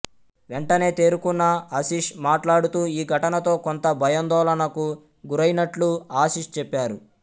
వెంటనే తేరుకున్న అశీష్ మాట్లాడుతూ ఈ ఘటనతో కొంత భయాందోళనకు గురయైనట్లు ఆశీష్ చెప్పారు